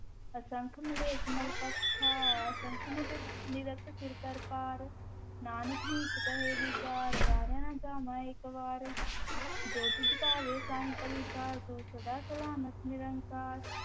ਅਸੰਖ ਮਲੇਛ ਮਲੁ ਭਖਿ ਖਾਹਿ, ਅਸੰਖ ਨਿੰਦਕ, ਨਿੰਦਕ ਸਿਰਿ ਕਰ ਭਾਰੁ, ਨਾਨਕੁ ਨੀਚੁ ਕਹੈ ਵੀਚਾਰੁ, ਵਾਰਿਆ ਨਾ ਜਾਵਾ ਏਕ ਵਾਰ, ਜੋ ਤੁਧੁ ਭਾਵੈ ਸਾਈ ਭਲੀ ਕਾਰ, ਤੂੰ ਸਦਾ ਸਲਾਮਤਿ ਨਿਰੰਕਾਰ,